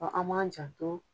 an b'an janto